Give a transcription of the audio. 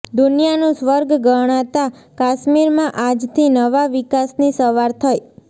દુનિયાનું સ્વર્ગ ગણાતાં કાશ્મીરમાં આજથી નવા વિકાસની સવાર થઇ